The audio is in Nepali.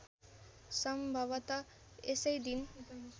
सम्भवत यसै दिन